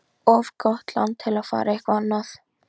Það var undravert hvað hann var ötull við það.